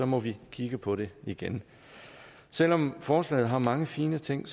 må vi kigge på det igen selv om forslaget har mange fine ting